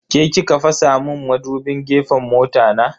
Ke ki ka fasa mun madubin gefen mota na?